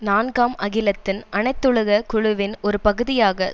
நான்காம் அகிலத்தின் அனைத்துலக குழுவின் ஒரு பகுதியாக